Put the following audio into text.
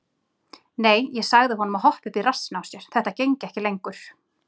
Nei, ég sagði honum að hoppa upp í rassinn á sér, þetta gengi ekki lengur.